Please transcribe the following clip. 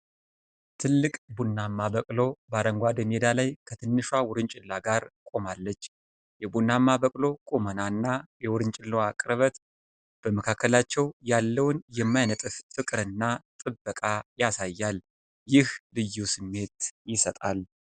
ትልቅ ቡናማ በቅሎ በአረንጓዴ ሜዳ ላይ ከትንሿ ዉርንጭላ ጋር ቆማለች። የቡናማ በቅሎ ቁመና እና የዉርንጭላዋ ቅርበት በመካከላቸው ያለውን የማይነጥፍ ፍቅር እና ጥበቃ ያሳያል፤ ይህም ልዩ ስሜት ይሰጣል።